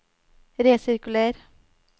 resirkuler